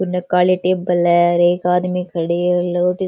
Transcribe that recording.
उनने काळा टेबल है और एक आदमी खड़े है --